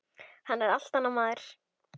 Hann er allt annar maður.